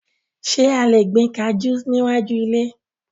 Ṣé a lè gbin kajú sí iwájú ilé?